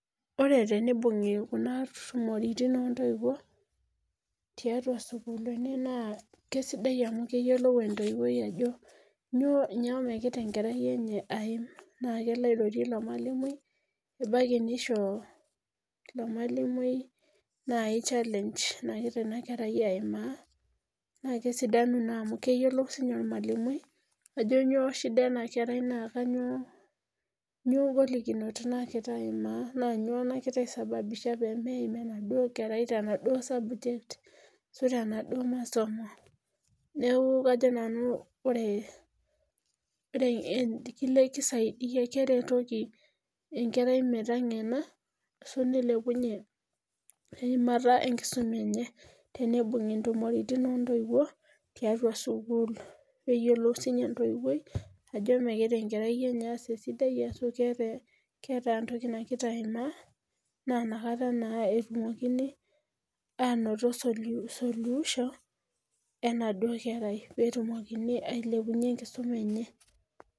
ore teneibungi kuna tumoritin o ntoiwuo, tiatua sukuuluni naa keisidai amu keyiolou entoiwoi ajo nyoo megira enkerai enye aim, naa kelo airorie ilo malimui, ebaiki neisho ilo malimui naai challenge nagira ina kerai aimaa naa kesidanu amu keyiolou sii ninye ormalimui ajo nyoo shida ena kerai naa kainyoo nyoo ngolikinot nagira aimaa, naa nyoo nagira aisababisha peemeim enaduoo kerai tenaduo sabject ashu tenaduo masomo .neeeku kajo nanu ore ore kisaidi keretoki enkerai metengena ashu neilepunye eimata enkisuma enye, teneibungi ntumoritin o ntoiwuo tiatua sukuul. neyioluo sii ninye entoiwoi ajo megira enkerai enye aas esidai ashu keeta entoki nagira aimaa na inakata naa etumokini aanoto sulu suluisho enaduo kerai. pee etumokini ailepunye enkisuma enye.